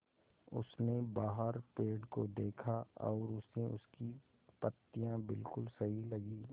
उसने बाहर पेड़ को देखा और उसे उसकी पत्तियाँ बिलकुल सही लगीं